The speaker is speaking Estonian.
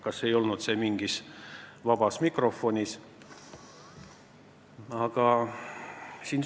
Kas see ei olnud jutuks ka vabas mikrofonis?